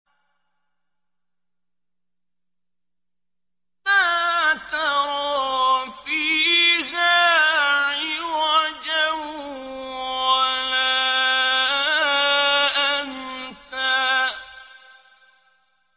لَّا تَرَىٰ فِيهَا عِوَجًا وَلَا أَمْتًا